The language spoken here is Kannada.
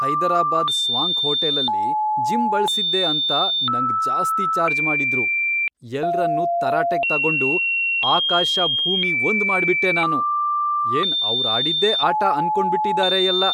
ಹೈದರಾಬಾದ್ ಸ್ವಾಂಕ್ ಹೋಟೆಲಲ್ಲಿ ಜಿಮ್ ಬಳ್ಸಿದ್ದೆ ಅಂತ ನಂಗ್ ಜಾಸ್ತಿ ಚಾರ್ಜ್ ಮಾಡಿದ್ರು. ಎಲ್ರನ್ನೂ ತರಾಟೆಗ್ ತಗೊಂಡು ಆಕಾಶ ಭೂಮಿ ಒಂದ್ ಮಾಡ್ಬಿಟ್ಟೆ ನಾನು! ಏನ್ ಅವ್ರಾಡಿದ್ದೇ ಆಟ ಅನ್ಕೊಂಡ್ಬಿಟಿದಾರೆ ಎಲ್ಲ!